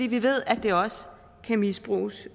vi ved at det også kan misbruges